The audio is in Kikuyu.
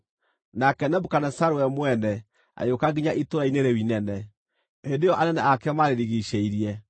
nake Nebukadinezaru we mwene agĩũka nginya itũũra-inĩ rĩu inene, hĩndĩ ĩyo anene ake maarĩrigiicĩirie.